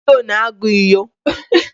Davido na-agụ inyo